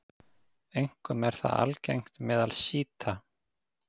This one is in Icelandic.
Einkum er það algengt meðal sjíta.